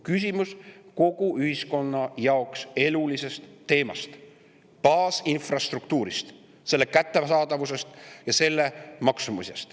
Küsimus on kogu ühiskonna jaoks elulises teemas: baasinfrastruktuuris, selle kättesaadavuses ja selle maksumuses.